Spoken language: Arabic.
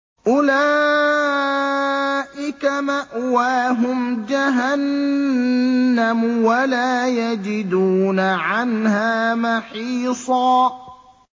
أُولَٰئِكَ مَأْوَاهُمْ جَهَنَّمُ وَلَا يَجِدُونَ عَنْهَا مَحِيصًا